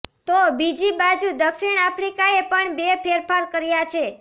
તો બીજી બાજુ દક્ષિણ આફ્રિકાએ પણ બે ફેરફાર કર્યા છે